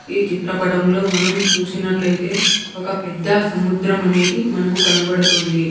ఈ చిత్రపటంలో మనం చూసినట్లయితే ఒక పెద్ద సముద్రం అనేది మనకు కనబడుతుంది.